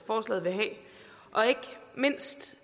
forslaget vil have og ikke mindst